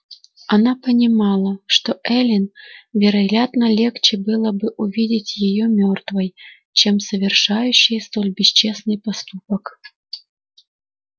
она понимала что эллин вероятно легче было бы увидеть её мёртвой чем совершающей столь бесчестный поступок